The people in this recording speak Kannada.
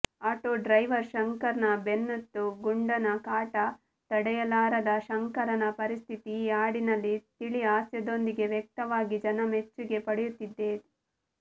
ಆಟೋ ಡ್ರೈವರ್ ಶಂಕರನ ಬೆನ್ನತ್ತೋ ಗುಂಡನ ಕಾಟ ತಡೆಯಲಾರದ ಶಂಕರನ ಪರಿಸ್ಥಿತಿ ಈ ಹಾಡಿನಲ್ಲಿ ತಿಳಿಹಾಸ್ಯದೊಂದಿದೆ ವ್ಯಕ್ತವಾಗಿ ಜನಮೆಚ್ಚುಗೆ ಪಡೆಯುತ್ತಿದೆ